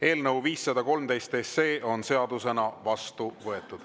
Eelnõu 513 on seadusena vastu võetud.